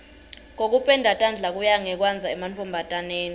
kokupenda tandla kuya ngekwandza emantfombataneni